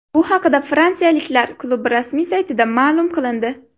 Bu haqida fransiyaliklar klubi rasmiy saytida ma’lum qilindi .